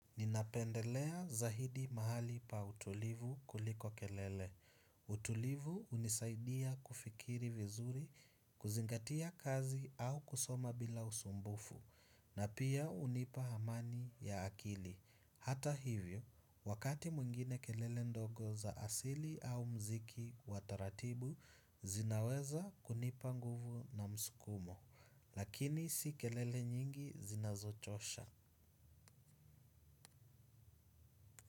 Ninapendelea zaidi mahali pa utulivu kuliko kelele. Utulivu hunisaidia kufikiri vizuri, kuzingatia kazi au kusoma bila usumbufu, na pia hunipa amani ya akili. Hata hivyo, wakati mwingine kelele ndogo za asili au muziki wa taratibu, zinaweza kunipa nguvu na msukumo, lakini si kelele nyingi zinazochosha.